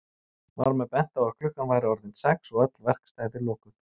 Var mér bent á að klukkan væri orðin sex og öll verkstæði lokuð.